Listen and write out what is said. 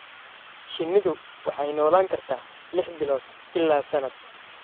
Shinnidu waxay noolaan kartaa lix bilood ilaa sanad.